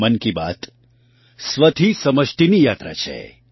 મન કી બાત સ્વથી સમષ્ટિની યાત્રા છે